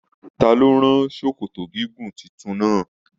Ta ló rán sòkòtò gígùn títún náa?